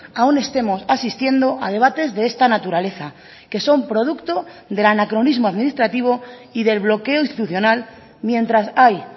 aún estemos asistiendo a debates de esta naturaleza que son producto del anacronismo administrativo y del bloqueo institucional mientras hay